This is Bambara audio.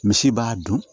Misi b'a dun